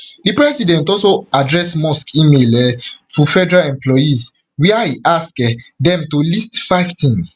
di president also address musk email um to federal employees wia e ask um dem to list five things